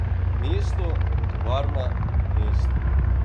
Mesto, tovarna, mesto.